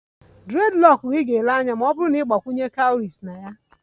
Dreadlocks gị ga-ele anya nke ọma ma ọ bụrụ na ị gbakwunye cowries na ya